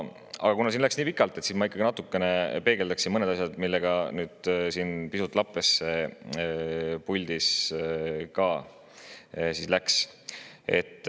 Aga kuna siin läks nii pikalt, siis ma ikkagi natuke peegeldan mõnda asja, millega siin puldis pisut lappesse läks.